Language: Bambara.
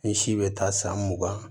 Ni si bɛ taa san mugan